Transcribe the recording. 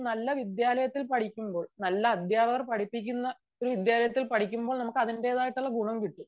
നല്ല വിദ്യാലയത്തിൽ പഠിക്കുമ്പോൾ നല്ല അധ്യാപകർ പഠിപ്പിക്കുന്ന വിദ്യാലയത്തിൽ പഠിക്കുമ്പോൾ നമുക്ക് അതിന്റെതായ ഗുണം കിട്ടും